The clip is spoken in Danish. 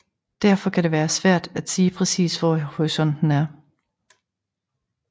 Derfor kan det være svært at sige præcis hvor horisonten er